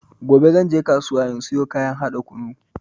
Gobe zanje kasuwa in siyo kayan haɗa kunun.